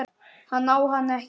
Hann á hana ekki.